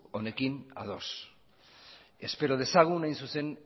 honekin ados espero dezagun hain zuzen